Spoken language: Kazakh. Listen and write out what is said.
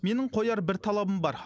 менің қояр бір талабым бар